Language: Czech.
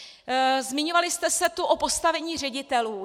Zmiňovali jste se tu o postavení ředitelů.